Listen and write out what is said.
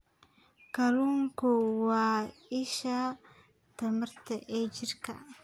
Kalluunku waa isha tamarta ee jirka.